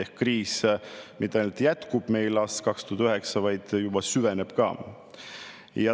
Ehk siis kriis mitte ainult ei jätku meil aastast 2009, vaid juba süveneb.